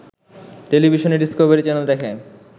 টেলিভিশনে Discovery channel দেখে